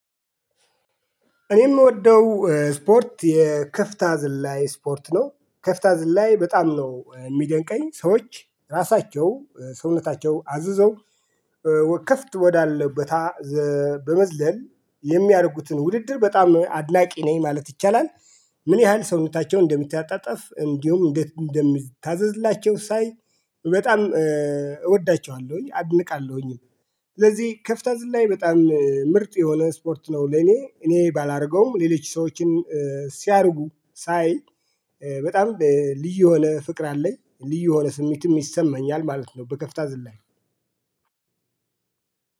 እኔ የምወደው ስፖርት የከፍታ ዝላይ ስፖርት ነው። ከፍታ ዝላይ በጣም ነው የሚደንቀኝ። ሰዎች ራሳቸው ሰውነታቸው አዝዘው ወከፍት ወዳለበት ቦታ በመዝለል፤ የሚያደርጉትን ውድድር በጣም አድናቂ ነኝ ማለት ይቻላል። ምን ያህል ሰውነታቸውን እንደሚተጣጠፍ እንዲሁም እንደሚታዘዝላቸው ሳይ በጣም እወዳቸዋለሁኝ፣ አድንቃለሁኝ። ስለዚህ ከፍታ ዝላኝ በጣም ምርጥ የሆነ ስፖርት ነው ለኔ፤ እኔ ባላደርገውም ሌሎች ሰዎችን ሲያርጉ ሳይ በጣም ልዩ የሆነ ፍቅር አለኝ፤ ልዩ የሆነ ስሜትም ይሰማኛል ማለት ነው፤ በከፍታ ዝላኝ።